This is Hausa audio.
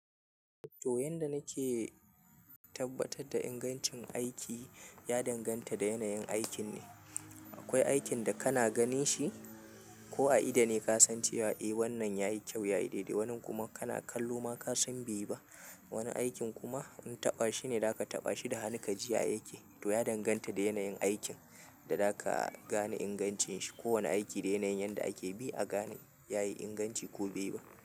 To, yanda nake tabbatar da ingancin aiki ya danganta da yanayin aikin ne. Akwai aikin da kana ganin shi ko a ido ne ka san cewa eh wannan yayi kyau, yayi daidai. Wannin kuma kana kallo ma ka san bai yi ba. Wani aikin kuma in taɓa shi ne, zaka taɓa shi da hannu ka ji ya yake. To ya danganta da yanayin aikin da za ka gane ingancin shi. Ko wani aiki da yanayin yanda ake bi a gane yayi inganci ko bai yi ba.